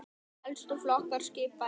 Helstu flokkar skipa eru